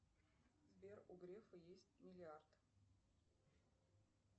сбер у грефа есть миллиард